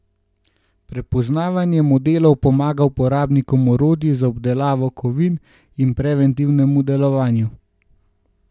Poznavanje modelov pomaga uporabnikom orodij za obdelavo kovin pri preventivnem delovanju.